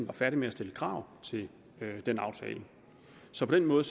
var færdig med at stille krav til den aftale så på den måde